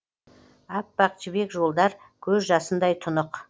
аппақ жібек жолдар көз жасындай тұнық